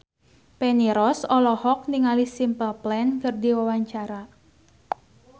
Feni Rose olohok ningali Simple Plan keur diwawancara